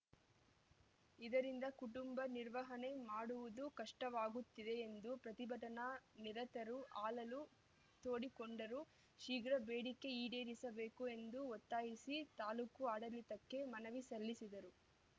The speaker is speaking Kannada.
ಇದರಿಂದ ಕುಟುಂಬ ನಿರ್ವಹಣೆ ಮಾಡುವುದು ಕಷ್ಟವಾಗುತ್ತಿದೆ ಎಂದು ಪ್ರತಿಭಟನಾ ನಿರತರು ಅಳಲು ತೋಡಿಕೊಂಡರು ಶೀಘ್ರ ಬೇಡಿಕೆ ಈಡೇರಿಸಬೇಕು ಎಂದು ಒತ್ತಾಯಿಸಿ ತಾಲೂಕು ಆಡಳಿತಕ್ಕೆ ಮನವಿ ಸಲ್ಲಿಸಿದರು